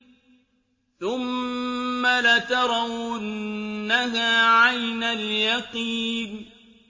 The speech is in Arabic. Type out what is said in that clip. ثُمَّ لَتَرَوُنَّهَا عَيْنَ الْيَقِينِ